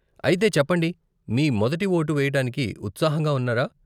అయితే చెప్పండి, మీ మొదటి వోటు వేయటానికి ఉత్సాహంగా ఉన్నారా?